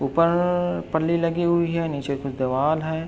ऊपर पल्ली लगी हुई है नीचे कुछ दीवाल है।